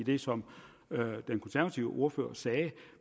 i det som den konservative ordfører sagde